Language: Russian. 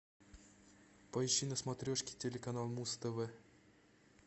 поищи на смотрешке телеканал муз тв